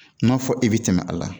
N'a fɔ e bɛ tɛmɛ a la